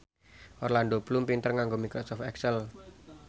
Orlando Bloom pinter nganggo microsoft excel